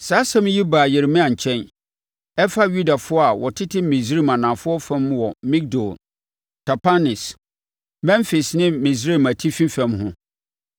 Saa asɛm yi baa Yeremia nkyɛn. Ɛfa Yudafoɔ a wɔtete Misraim anafoɔ fam wɔ Migdol, Tapanhes, Memfis ne Misraim atifi fam ho.